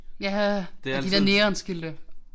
Ja! Og de der neonskilte